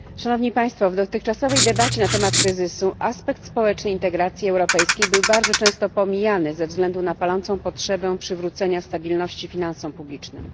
W dotychczasowej debacie na temat kryzysu aspekt społeczny integracji europejskiej był bardzo często pomijany ze względu na palącą potrzebę przywrócenia stabilności finansom publicznym.